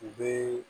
U bɛ